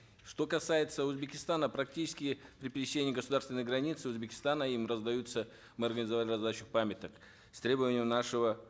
что касается узбекистана практически при пересечении государственной границы узбекистана им раздаются раздачу памяток с требованием нашего